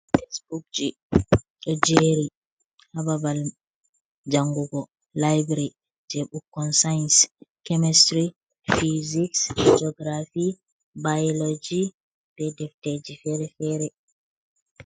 Tesbukje, ɗo jeri hababal jangugo laibri je ɓukkon saaiens, kemestiry, fysiks jogirafy byloloji be defteje fere fere.